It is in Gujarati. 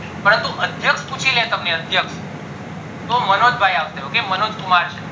પરંતુ અદ્યક્ષ પુચીલે અદ્યક્ષ તો મનોજ ભય આવશે okay મનોજ કુમાર